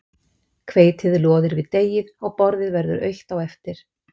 hveitið loðir við deigið og borðið verður autt á eftir